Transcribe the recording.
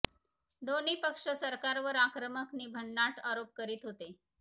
दोन्ही पक्ष सरकारवर आक्रमक नि भन्नाट आरोप करीत होते